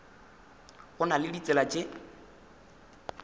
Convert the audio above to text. go na le ditsela tše